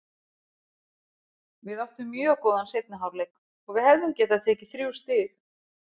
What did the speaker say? Við áttum mjög góðan seinni hálfleik og hefðum getað tekið þrjú stig.